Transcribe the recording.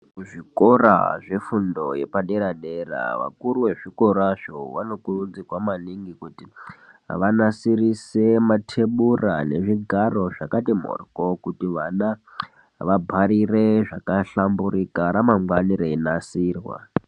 Muzvikora zvefundo yepadera dera vakuru vezvikorazvo vanokurudzirwa maningi kuti vanasirise matebura nezvigaro zvakati mboryo kuti vana va bharire zvakahlamburika ramangwani reinasirwa.